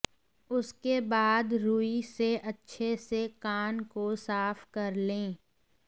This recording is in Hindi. उसके बाद रुई से अच्छे से कान को साफ़ कर लें